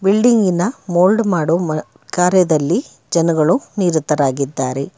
ಬಿಲ್ಡಿಂಗಿನ mould ಮಾಡೊ ಮಾ ಕಾರ್ಯದಲ್ಲಿ ಜನರು ನಿರತರಾಗಿದ್ದಾರೆ.